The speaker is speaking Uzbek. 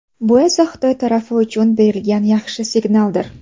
Bu esa Xitoy tarafi uchun berilgan yaxshi signaldir.